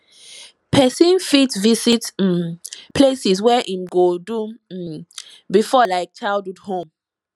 person fit visit um places where im do go um before like childhood home